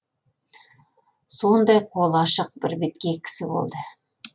сондай қолы ашық бірбеткей кісі болды